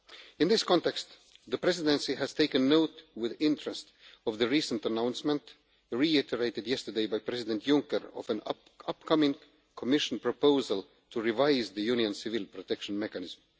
In this context, the Presidency has taken note with interest of the recent announcement, reiterated yesterday by President Juncker, of an upcoming Commission proposal to revise the Union Civil Protection Mechanism.